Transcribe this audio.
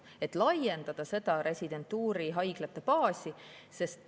Nii saaks laiendada residentuurihaiglate baasi.